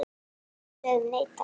Við sögðum nei, takk!